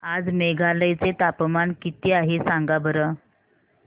आज मेघालय चे तापमान किती आहे सांगा बरं